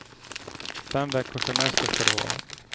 Fem veckors semester ska det vara.